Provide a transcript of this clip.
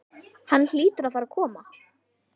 Hann hlýtur að fara að koma.